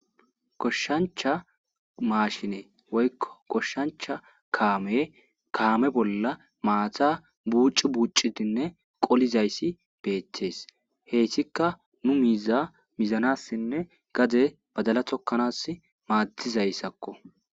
Goshshancha maashine woykko goshshancha kaame kaame bolla maata buuci bucidinne qolizayssi beettees. Heyssika nu miiza mizanassinne gade badala tokkanas maaddizayssakko.